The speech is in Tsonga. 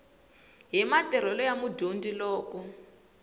hi matirhelo ya mudyondzi loko